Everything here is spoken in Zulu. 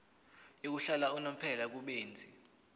yokuhlala unomphela kubenzi